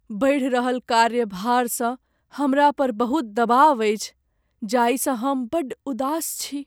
बढ़ि रहल कार्यभारसँ हमरा पर बहुत दबाव अछि जाहिसँ हम बड़ उदास छी।